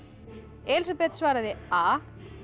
Elísabet svaraði a